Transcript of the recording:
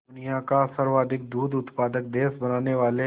दुनिया का सर्वाधिक दूध उत्पादक देश बनाने वाले